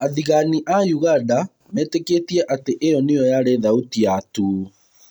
Athĩgani a ũganda metĩkĩtie atĩ ĩo nĩyo yarĩ thauti ya too.